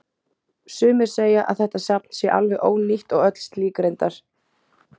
Sumir segja að þetta safn sé alveg ónýtt og öll slík reyndar.